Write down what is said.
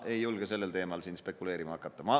Ma ei julge sellel teemal siin spekuleerima hakata.